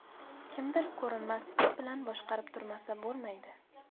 Kimdir ko‘rinmas ip bilan boshqarib turmasa, bo‘lmaydi.